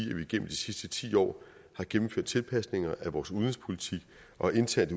gennem de sidste ti år gennemført tilpasninger af vores udenrigspolitik og internt